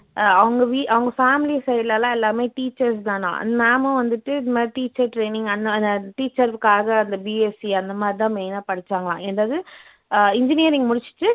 அஹ் அவங்க வீ அவங்க family side லலாம் எல்லாருமே teachers தானாம் ma'am உம் வந்துட்டு இந்த மாதிரி teacher training அன் அ அந்த teacher காக அந்த BSC அந்த மாதிரி தான் main ஆ படிச்சாங்களாம் என்னது அஹ் engineering முடிச்சுட்டு